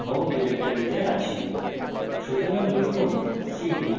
মনে রাখুন যে আমি আমার home ডিরেক্টরিতে আছি